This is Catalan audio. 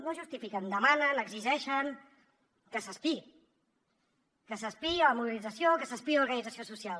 no justifiquen demanen exigeixen que s’espiï que s’espiï la mobilització que s’espiï l’organització social